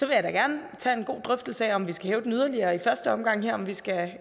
jeg da gerne tage en god drøftelse af om vi skal hæve den yderligere i første omgang her om vi skal